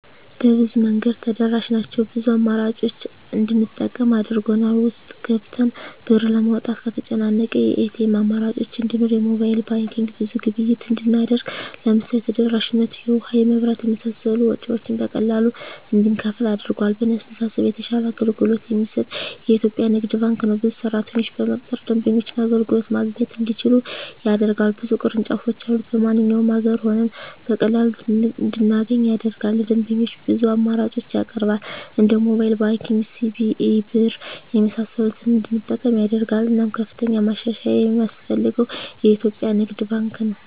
በብዙ መንገድ ተደራሽ ናቸው ብዙ አማራጮችን እንድንጠቀም አድርጎል። ውስጥ ገብተን ብር ለማውጣት ከተጨናነቀ የኤቲኤም አማራጮች እንዲኖር የሞባይል ባንኪንግ ብዙ ግብይት እንድናደርግ ለምሳሌ ተደራሽነቱ የውሀ, የመብራት የመሳሰሉ ወጭወችን በቀላሉ እንድንከፍል አድርጓል። በእኔ አስተሳሰብ የተሻለ አገልግሎት የሚሰጥ የኢትዪጵያ ንግድ ባንክ ነው። ብዙ ሰራተኞችን በመቅጠር ደንበኞች አገልግሎት ማግኘት እንዲችሉ ያደርጋል። ብዙ ቅርንጫፎች ያሉት በማንኛውም አገር ሆነን በቀላሉ እንድናገኝ ያደርጋል። ለደንበኞች ብዙ አማራጮችን ያቀርባል እንደ ሞባይል ባንኪንግ, ሲቢኢ ብር , የመሳሰሉትን እንድንጠቀም ያደርጋል። እናም ከፍተኛ ማሻሻያ የማስፈልገው የኢትዮጵያ ንግድ ባንክ ነው።